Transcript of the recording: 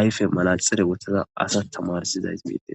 ayfe malaxere wottada asa tamarsidays miide.